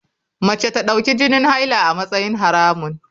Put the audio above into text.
Mace ta dauki jinin haila a matsayin haramun.